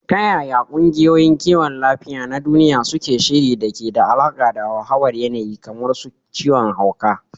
Ta yaya kungiyoyin kiwon lafiya na duniya suke shiri da ke da alaka da hauhawar yanayi kamar su ciwon hauka?